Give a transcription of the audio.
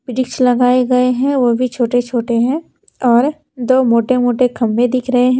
वृक्ष लगाए गए हैं वह भी छोटे-छोटे हैं और दो मोटे-मोटे खंबे दिख रहे हैं।